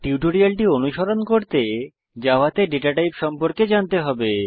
টিউটোরিয়ালটি অনুসরণ করতে জাভাতে ডেটা টাইপ সম্পর্কে জানতে হবে